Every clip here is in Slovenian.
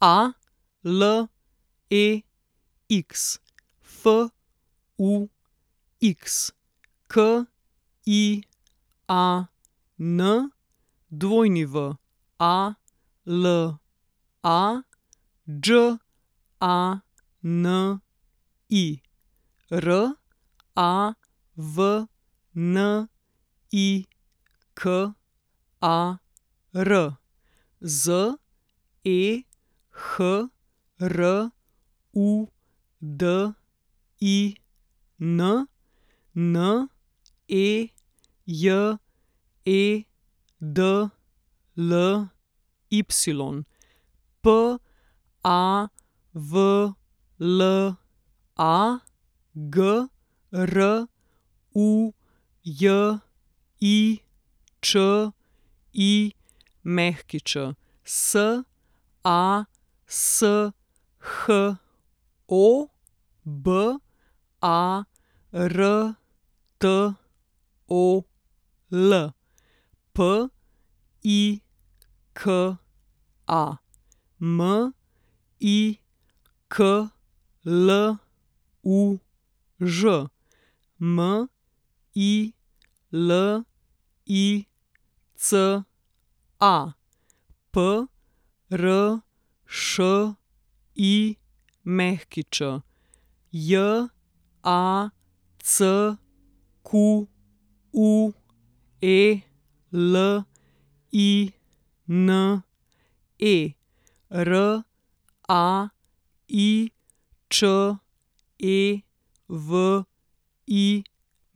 Alex Fux, Kian Wala, Đani Ravnikar, Zehrudin Nejedly, Pavla Grujičić, Sasho Bartol, Pika Mikluž, Milica Pršić, Jacqueline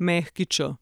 Raičević.